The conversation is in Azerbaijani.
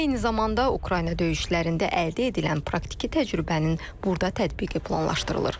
Eyni zamanda Ukrayna döyüşlərində əldə edilən praktiki təcrübənin burda tətbiqi planlaşdırılır.